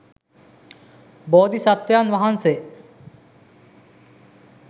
බෝධි සත්ත්වයන් වහන්සේ